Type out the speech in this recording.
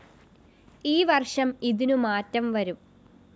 ഈ വര്‍ഷം ഇതിനു മാറ്റം വരും